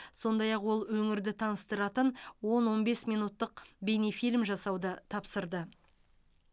сондай ақ ол өңірді таныстыратын он он бес минуттық бейнефильм жасауды тапсырды